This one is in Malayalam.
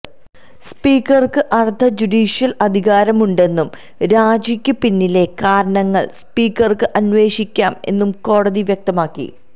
സ്പീക്കര്ക്ക് അര്ധ ജുഡീഷ്യല് അധികാരം ഉണ്ടെന്നും രാജിക്ക് പിന്നിലെ കാരണങ്ങള് സ്പീക്കര്ക്ക് അന്വേഷിക്കാം എന്നും കോടതി വ്യക്തമാക്കി